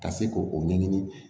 Ka se k'o ɲɛɲini